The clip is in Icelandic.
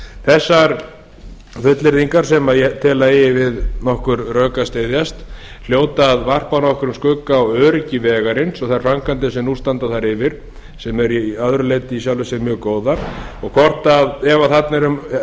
þessar fullyrðingar sem ég tel að eigi við nokkur rök að styðjast hljóta að varpa nokkrum skugga á öryggi vegarins og þær framkvæmdir sem nú standa þær yfir sem eru að öðru leyti í sjálfu sér mjög góðar og ef þarna